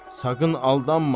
Saqın aldanma.